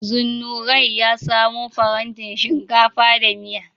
Zunnurain ya samo farantin shinkafa da miya.